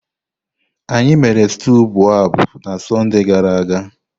Anyị mere stew boababab na Sọnde gara aga.